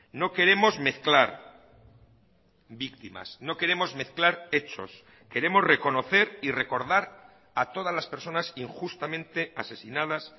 no queremos mezclar víctimas no queremos mezclar hechos queremos reconocer y recordar a todas las personas injustamente asesinadas